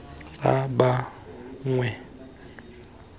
tsa ba bangwe le mo